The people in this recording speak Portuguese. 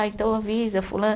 Ah, então avisa fula